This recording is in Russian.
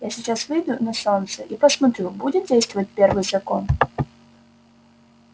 я сейчас выйду на солнце и посмотрю будет действовать первый закон